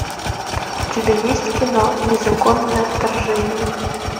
у тебя есть кино незаконное вторжение